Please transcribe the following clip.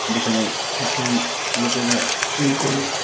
যেখানে খ্রিশ্চান লোকেরা প্রে করে।